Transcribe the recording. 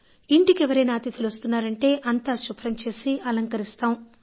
ఇంటికి ఎవరైనా అతిథులు వస్తున్నారంటే అంతా శుభ్రం చేసి అలంకరిస్తాం